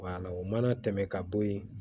o mana tɛmɛ ka bo ye